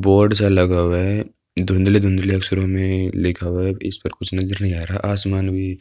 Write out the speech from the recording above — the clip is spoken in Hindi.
बोर्ड सा लगा हुआ है। धुंधले-धुंधले अक्षरों में लिखा हुआ है। इस पर कुछ नजर नहीं आ रहा आसमान भी